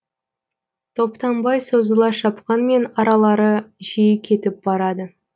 топтанбай созыла шапқанмен аралары жиі кетіп барады